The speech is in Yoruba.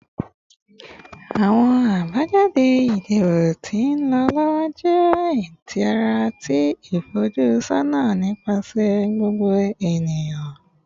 Awọn abajade idibo ti nlọ lọwọ jẹ itara ti ifojusọna nipasẹ gbogbo eniyan